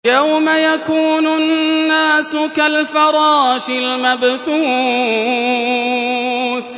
يَوْمَ يَكُونُ النَّاسُ كَالْفَرَاشِ الْمَبْثُوثِ